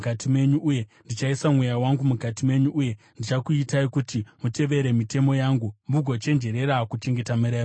Uye ndichaisa Mweya wangu mukati menyu uye ndichakuitai kuti mutevere mitemo yangu mugochenjerera kuchengeta mirayiro yangu.